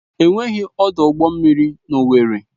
Enweghị ọdụ ụgbọ mmiri na owerri.